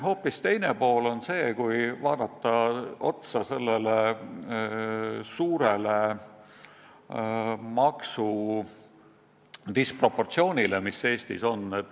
Hoopis teine asi on see suur maksudisproportsioon, mis Eestis on.